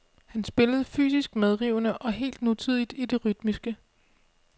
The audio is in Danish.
Han spillede fysisk medrivende og helt nutidigt i det rytmiske.